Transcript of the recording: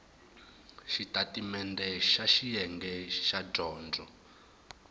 xitatimendhe xa xiyenge xa dyondzo